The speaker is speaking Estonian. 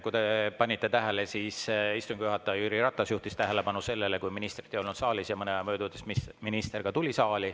Kui te panite tähele, siis istungi juhataja Jüri Ratas juhtis tähelepanu sellele, kui ministrit ei olnud saalis, ja mõne aja möödudes minister tuli saali.